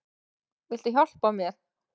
Viltu hjálpa mér?